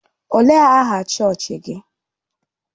Ọ léé aha chọọchị gị?